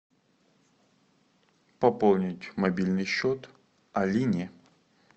пополнить мобильный счет алине